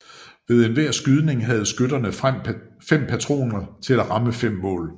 Ved hver skydning havde skytterne fem patroner til at ramme fem mål